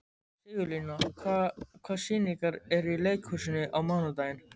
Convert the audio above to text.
Sigurlína, hvaða sýningar eru í leikhúsinu á mánudaginn?